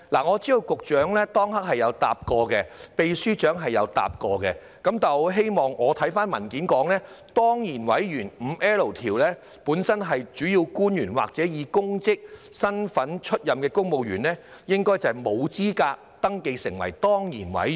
我知道局長當時曾經回答，秘書長亦曾經回答，但我翻看文件，根據第 5L 條，本身是主要官員或者以其公職身份擔任指明職位的公務員，應該沒有資格登記成為當然委員。